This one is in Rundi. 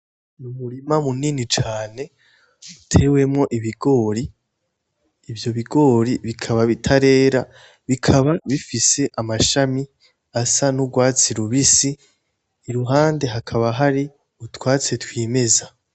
Umurima munini cane utewemwo ibigori, ivyo bigori bikaba bitarera, bikaba bifise amashami asa nurwatsi rubisi, iruhande hakaba hari utwatsi twimeza .